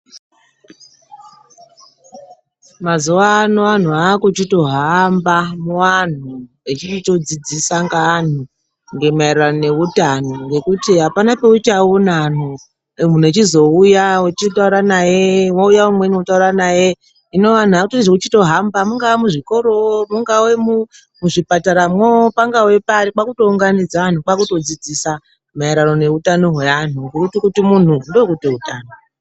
Mazuwano anhu akuchitohamba muanhu, echichitodzidzisa ngeanhu maererano neutano ngekuti hapana peuchaona anhu munhu echizouya wouya umweni wotaura naye hino anhu akuchitoita zvekuhamba mungava muzvikoro mungava muzvipataramwo pangave pari kwakutounganidza vanhu kwakutodzidzisa maererano neutano hwevanhu ngekuti kuti munhu ndokuti utano.